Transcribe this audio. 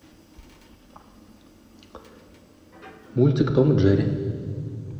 мультик том и джерри